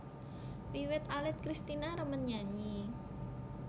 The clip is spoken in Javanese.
Wiwit alit Kristina remen nyanyi